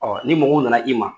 Ɔ ni mɔgɔ mun nana i ma